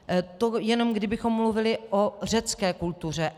To jenom kdybychom mluvili o řecké kultuře.